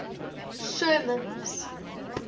sherman's